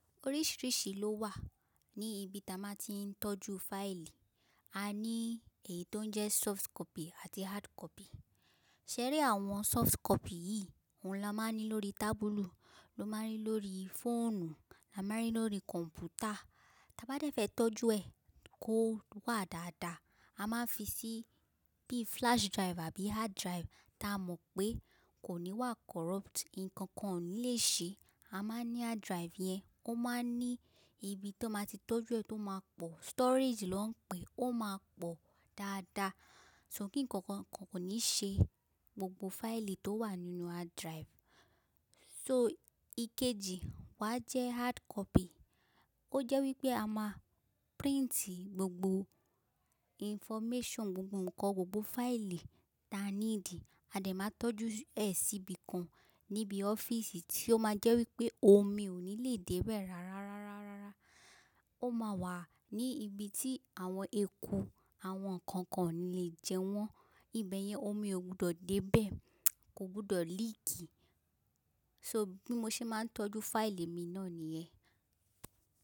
Oríṣìíríṣìí ló wà ní ibi tí a máa ti ń tọ́jú fáìlì. A ní èyí tó ń jẹ́ soft copy àti hard copy. Ṣẹ́rí àwọn soft copy yìí, òun ni a máa ní lórí tábùlù, ló máa ń rí lórí fóònù, la máa ń rí lórí kọ̀m̀pútà. Táa bá dẹ̀ fẹ́ tọ́jú ẹ̀ kó wà dáadáa, a máa fi sí bí flash drive àbí hard drive táa mọ̀ pé kò ní wà corrupt, ǹkan kan ò ní lè ṣe ẹ. A máa ní hard drive yẹn, ó máa ń ní ibi tó máa ti tọ́jú ẹ tó máa pọ̀, storage ló ń pe ẹ, ó máa pọ̀ dáadáa. Ṣò kín ǹkan kan kò ní ṣe gbogbo fáìlì tó wà nínú hard drive. So ìkejì wà jẹ́ hard copy. Ó jẹ́ wípé a máa printì gbogbo information, gbogbo ǹkan, gbogbo fáìlì táa need A dẹ̀ máa tọ́jú ẹ̀ sí ibi kan níbi ọ́fíìsì tí ó máa jẹ́ wípé omi ò ní lè dé bẹ̀ rárá, rárá, rárá. Ó máa wà ní ibi tí àwọn eku, àwọn ǹkan kan ò ní lè jẹ wọ́n. Ibe yẹn omi ò gbọdọ̀ dé bẹ̀, kò gbọdọ̀ leak. So bí mo ṣe máa ń tọ́jú fáìlì mi náà ni yen.